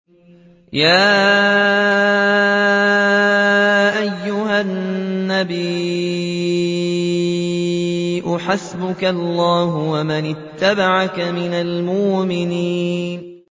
يَا أَيُّهَا النَّبِيُّ حَسْبُكَ اللَّهُ وَمَنِ اتَّبَعَكَ مِنَ الْمُؤْمِنِينَ